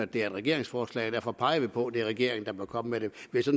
det er et regeringsforslag og derfor peger vi på at det er regeringen der bør komme med det